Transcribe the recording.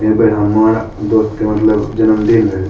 एबर हमर दोस्त के मतलब जन्मदिन रहे।